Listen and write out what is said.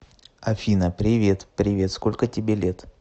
афина привет привет сколько тебе лет